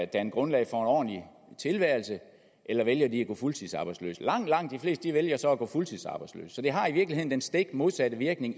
danne grundlag for en ordentlig tilværelse eller vælger de at gå fuldtidsarbejdsløse langt langt de fleste vælger så at gå fuldtidsarbejdsløse så det har i virkeligheden i den stik modsatte virkning